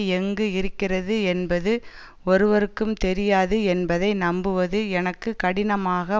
எங்கு இருக்கிறது என்பது ஒருவருக்கும் தெரியாது என்பதை நம்புவது எனக்கு கடினாமாக